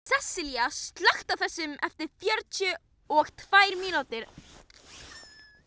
Sessilía, slökktu á þessu eftir fjörutíu og tvær mínútur.